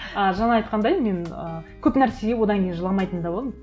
ы жаңа айтқандай мен ы көп нәрсеге одан кейін жыламайтын да болдым